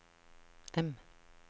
M